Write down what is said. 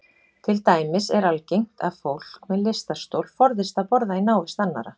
Til dæmis er algengt að fólk með lystarstol forðist að borða í návist annarra.